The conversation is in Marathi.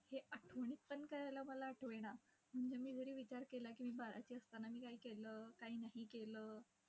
हे आठवणीत पण करायला मला आठवेना. म्हणजे मी जरी विचार केला की मी बाराची असताना मी काय केलं, काय नाही केलं.